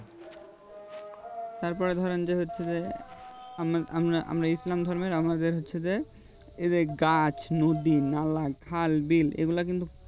তারপরে ধরেন যে হচ্ছে যে আমি আমরা আমরা ইসলাম ধর্মের আমাদের হচ্ছে যে এই যে গাছ নদী নালা খাল বিল এইগুলা কিন্তু